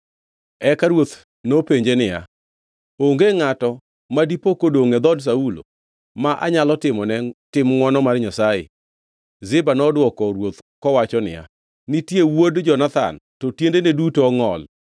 Eka ruoth nopenje niya, “Onge ngʼat ma dipo kodongʼ e dhood Saulo ma anyalo timo ne tim ngʼwono mar Nyasaye?” Ziba nodwoko ruoth kowacho niya, “Nitie wuod Jonathan; to tiendene duto ongʼol.”